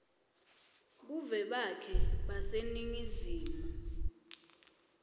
buve bakhe baseningizimu